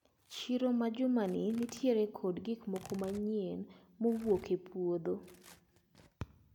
Chiro ma jumani nitiere kod gikmoko manyien maowuok e puodho.